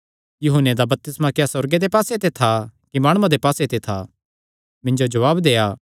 यूहन्ने दा बपतिस्मा क्या सुअर्गे दे पास्से ते था कि माणुआं दे पास्से ते था मिन्जो जवाब देआ